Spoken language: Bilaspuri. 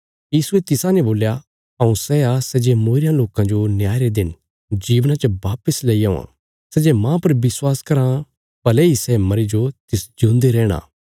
यीशुये तिसाने बोल्या हऊँ सै आ सै जे मूईरयां लोकां जो न्याय रे दिन जीवना च वापस लैई औवां सै जे माह पर विश्वास कराँ भले इ सै मरी जो तिस जिऊंदा रैहणा